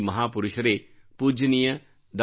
ಈ ಮಹಾಪುರುಷರೇ ಪೂಜ್ಯನೀಯ ಡಾ